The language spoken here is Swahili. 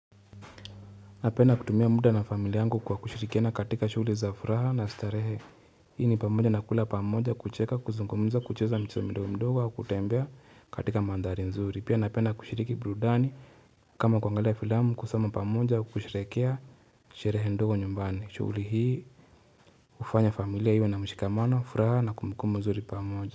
Napenda kutumia muda na familia yangu kwa kushirikiana katika shuguli za furaha na starehe Hii ni pamoja na kula pamoja kucheka kuzungumza kucheza mchezo midogo midogo au kutembea katika mandhari nzuri Pia napenda kushiriki burudani kama kuangalia filamu kusoma pamoja au kusherehekea sherehe ndogo nyumbani shuguli hii hufanya familia iwe namshika mano furaha na kumbuku nzuri pamoja.